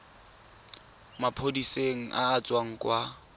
maphodiseng a a tswang kwa